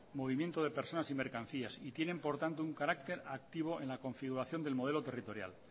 movimiento de personas y mercancías y tienen por tanto un carácter activo en la configuración del modelo territorial